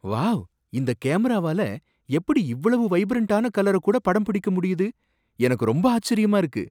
Wow! இந்த கேமராவால எப்படி இவ்வளவு வைபரன்ட்டான கலர கூட படம் பிடிக்க முடியுது, எனக்கு ரொம்ப ஆச்சரியமா இருக்கு!